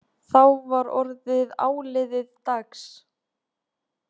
Þá var orðið áliðið dags.